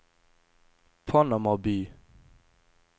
Panama by